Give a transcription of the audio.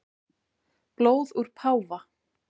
Blóð úr páfa